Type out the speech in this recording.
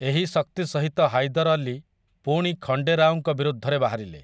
ଏହି ଶକ୍ତି ସହିତ ହାଇଦର୍ ଅଲି ପୁଣି ଖଣ୍ଡେ ରାଓଙ୍କ ବିରୁଦ୍ଧରେ ବାହାରିଲେ ।